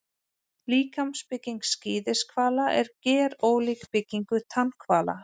Líkamsbygging skíðishvala er gerólík byggingu tannhvala.